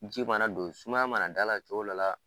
Ji mana don sumaya mana d'a la cogoya dɔ la